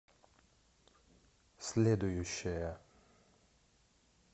следующая